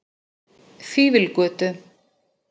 Fífilgötu